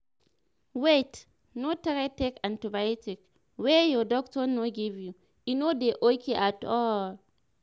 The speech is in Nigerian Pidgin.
wait no try take antibiotic wey your doctor no give you e no dey okay at all